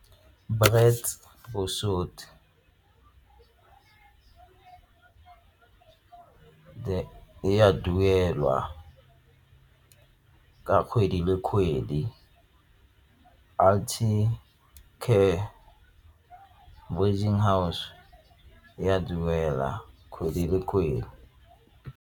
Brits e a duelwa ka kgwedi di le kgwedi house e a duela kgwedi le kgwedi.